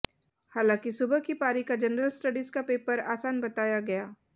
हालांकि सुबह की पारी का जनरल स्टडीज का पेपर आसान बताया गया